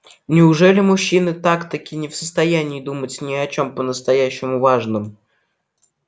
неужели мужчины так-таки не в состоянии думать ни о чём по-настоящему важном